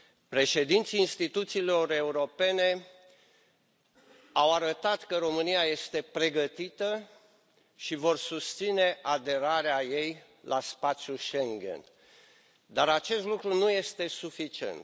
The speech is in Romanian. Președinții instituțiilor europene au arătat că România este pregătită și vor susține aderarea ei la spațiul Schengen, dar acest lucru nu este suficient.